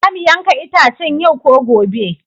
Za mu yanka itacen yau ko gobe?